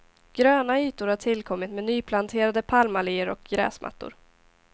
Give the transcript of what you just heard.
Gröna ytor har tillkommit med nyplanterade palmalleer och gräsmattor.